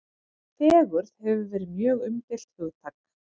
Fegurð hefur verið mjög umdeilt hugtak.